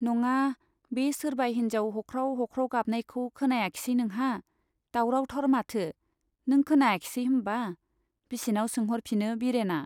नङा , बे सोरबा हिन्जाव हख्राव हख्राव गाबनायखौ खोनायाखिसै नोंहा ? दावरावथार माथो ? नों खोनायाखिसै होम्बा ? बिसिनाव सोंहरफिनो बिरेना